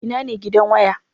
Ina ne gidan waya?